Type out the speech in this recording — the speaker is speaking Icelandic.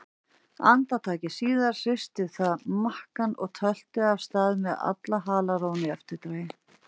Andartaki síðar hristi það makkann og tölti af stað með alla halarófuna í eftirdragi.